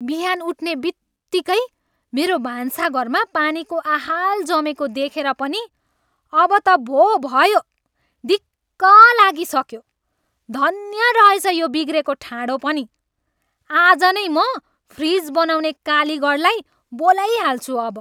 बिहान उठ्ने बित्तिकै मेरो भान्साघरमा पानीको आहाल जमेको देखेर पनि अब त भो भयो, दिक्क लागिसक्यो। धन्य रहेछ यो बिग्रेको ठाँडो पनि। आज नै म फ्रिज बनाउने कालीगढलाई बोलाइहाल्छु अब।